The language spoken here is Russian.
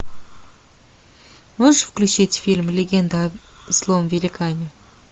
можешь включить фильм легенда о злом великане